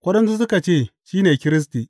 Waɗansu suka ce, Shi ne Kiristi.